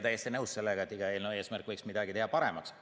Täiesti nõus sellega, et iga eelnõu eesmärk võiks olla midagi teha paremaks.